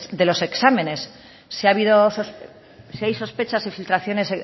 de los exámenes si hay sospechas y filtraciones